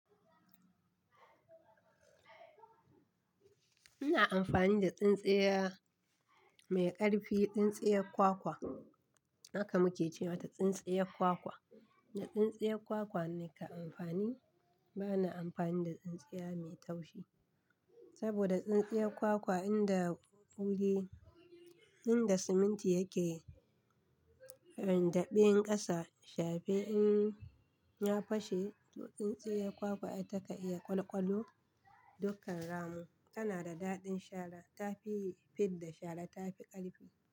Ina amfani da tsintsiya mai ƙarfi, tsintsiya kwakwa, haka muke ce mata tsintsiya kwakwa. Da tsintsiya kwakwa ne ka amfani. Bana amfani da tsintsiya mai taushi. Saboda tsintsiya kwakwa inda wuri, inda siminti yake, inda ben ƙasa, shafi in ya fashe, tsintsiya kwakwa ta ka iya ƙwalƙwalu dukkan rammun. Tana da daɗin shala. Ta fi fidda shara. Ta fi ƙarfi.